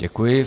Děkuji.